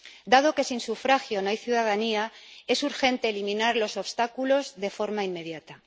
Dado que sin sufragio no hay ciudadanía, es urgente eliminar los obstáculos de forma inmediata.